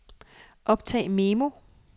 optag memo